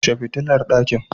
Kshe fitilar ɗakin.